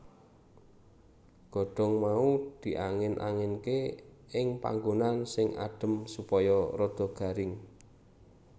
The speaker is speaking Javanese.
Godhong mau diangin anginke ing panggonan sing adem supaya rada garing